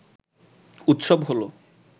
উৎসব হলো